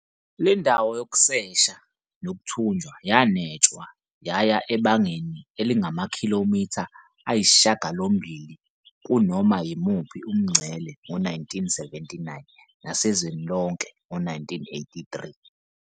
Le ndawo yokusesha nokuthunjwa yanwetshwa yaya ebangeni elingamakhilomitha ayisishiyagalombili kunoma yimuphi umngcele ngo-1979 nasezweni lonke ngo-1983.